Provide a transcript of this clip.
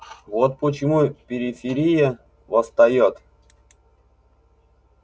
вот почему периферия восстаёт